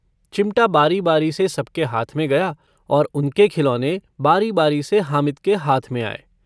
चिमटा बारीबारी से सबके हाथ में गया और उनके खिलोने बारीबारी से हामिद के हाथ में आये।